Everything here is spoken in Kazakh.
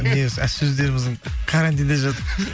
сөздеріміздің карантинде жатып